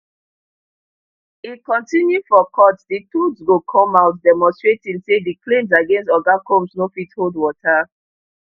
e continue for court di truth go come out demonstrating say di claims against oga combs no fit hold water